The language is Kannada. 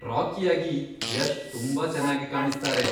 ರಾಕಿಯಾಗಿ ಯಶ್ ತುಂಬಾ ಚೆನ್ನಾಗಿ ಕಾಣಿಸ್ತಾರೆ.